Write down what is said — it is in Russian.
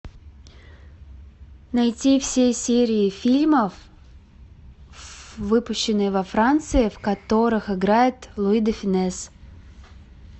найти все серии фильмов выпущенные во франции в которых играет луи де фюнес